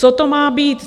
Co to má být.